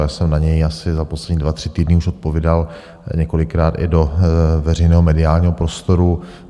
Já jsem na něj asi za poslední dva, tři týdny už odpovídal několikrát i do veřejného mediálního prostoru.